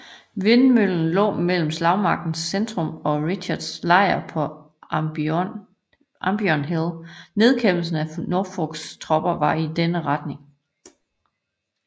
Vindmøllen lå mellem slagmarkens centrum og Richards lejr på Ambion Hill og nedkæmpelsen af Norfolks fortrop var i denne retning